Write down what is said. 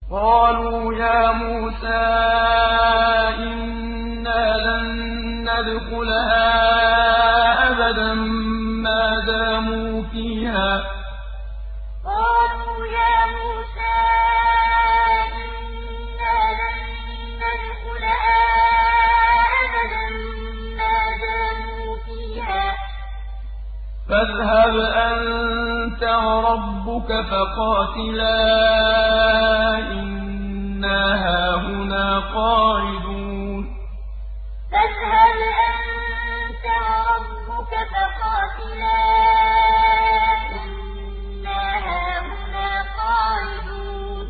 قَالُوا يَا مُوسَىٰ إِنَّا لَن نَّدْخُلَهَا أَبَدًا مَّا دَامُوا فِيهَا ۖ فَاذْهَبْ أَنتَ وَرَبُّكَ فَقَاتِلَا إِنَّا هَاهُنَا قَاعِدُونَ قَالُوا يَا مُوسَىٰ إِنَّا لَن نَّدْخُلَهَا أَبَدًا مَّا دَامُوا فِيهَا ۖ فَاذْهَبْ أَنتَ وَرَبُّكَ فَقَاتِلَا إِنَّا هَاهُنَا قَاعِدُونَ